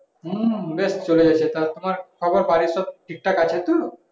হুম বেশ চলে যাচ্ছে তারপর তোমার কি খবর বাড়ির সব ঠিক থাকে আছে তো